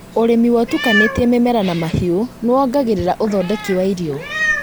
ũrĩmi wa ũtukanĩte mĩmera na mahiũ nĩwongagĩrĩra ũthondeki wa irio